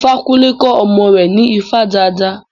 Ifakunle kọ́ ọmọ rẹ̀ ní ifá dídá.